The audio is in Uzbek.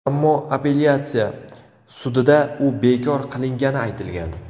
Ammo appelyatsiya sudida u bekor qilingani aytilgan.